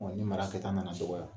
Ni mara kɛta nana dɔgɔya